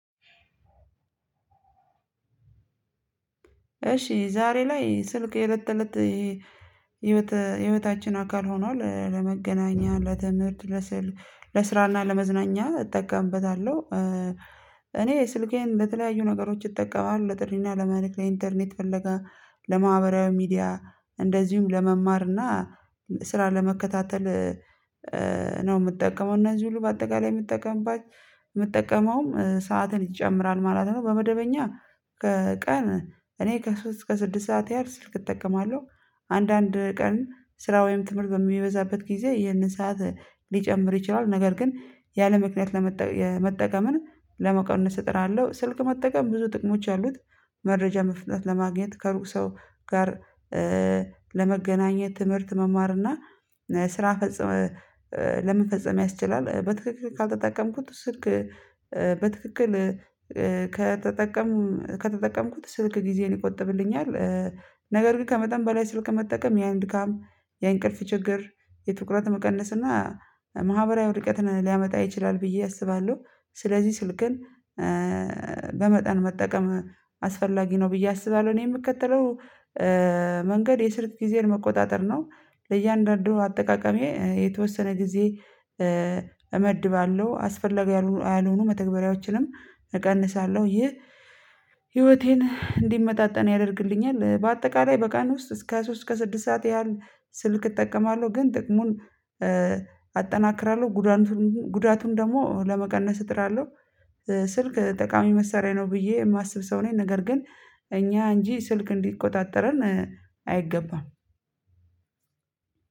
እሺ ዛሬ ላይ ስልክ የለት ለት ህይወታችን አካል ሆኗል ለመገናኛ ለትምህርት ለስራ ለስራና ለመዝናኛ እጠቀምበታለሁ። እኔ ስልኬን ለተለያዩ ነገሮች እጠቀማለሁ ለጥሪና ለመልክት ለኢንተርኔት ፈለጋ ለማህበራዊ ሚዲያ እንደዚሁም ለመማር እና ስራ ለመከታተል ነው የምጠቀመው እነዚህ ሁሉ በአጠቃላይ የምጠቀምባች የምጠቀመውም ሰዓትን ይጨምራል ማለት ነው። በመደበኛ ከቀን እኔ ከሶስት ከስድስት ሰዓት ያህል ስልክ እጠቀማለሁ። አንዳንድ ቀን ስራ ወይም ትምህርት በሚበዛበት ጊዜ ይህንን ሰዓት ሊጨምር ይችላል ነገር ግን ያለምክንያት ለመጠቀም ለመቀነስ እጥራለሁ ስልክ መጠቀም ብዙ ጥቅሞች አሉት። መረጃ መፍጠጥ ለማግኘት ከሩቅ ሰው ጋር ለመገናኘት ትምህርት መማር እና ስራ ፈጽመ ለመፈጸም ያስችላል በትክክል ካልተጠቀምኩት ስልክ በትክክል ከተጠቀም ከተጠቀምኩት ስልክ ጊዜን ይቆጥብልኛል። ነገር ግን ከመጠን በላይ ስልክ መጠቀም ያን ድካም የእንቅልፍ ችግር የትኩረት መቀነስ እና ማህበራዊ ወድቀትን ሊያመጣ ይችላል ብዬ አስባለሁ። ስለዚህ ስልክን በመጠን መጠቀም አስፈላጊ ነው ብዬ አስባለሁ። እኔ የምከተለው መንገድ የስልክ ጊዜን መቆጣጠር ነው። ለእያንዳንዱ አጠቃቀሜ የተወሰነ ጊዜ እመድባለሁ አስፈላጊ ያልሆኑ መተግበሪያዎችንም እቀንሳለሁ። ይህ ህይወቴን እንዲመጣጠን ያደርግልኛል በአጠቃላይ በቀን ውስጥ እስከ ሶስት እስከ ስድስት ሰዓት ያህል ስልክ እጠቀማለሁ። ግን ጥቅሙን አጠናክራለሁ ጉዳቱን ጉዳቱን ደግሞ ለመቀነስ እጥራለሁ። ስልክ ጠቃሚ መሳሪያ ነው ብዬ የማስብ ሰው ነኝ ነገር ግን እኛ እንጂ ስልክ እንዲቆጣጠረን አይገባም።